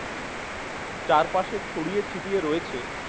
চারপাশে ছড়িয়ে ছিটিয়ে রয়েছে